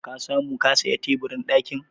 Ka samu ka saya teburin ɗakin?